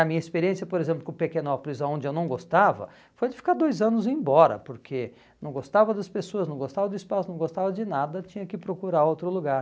A minha experiência, por exemplo, com Pequenópolis, aonde eu não gostava, foi de ficar dois anos e ir embora, porque não gostava das pessoas, não gostava do espaço, não gostava de nada, tinha que procurar outro lugar.